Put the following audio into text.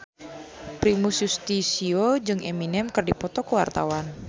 Primus Yustisio jeung Eminem keur dipoto ku wartawan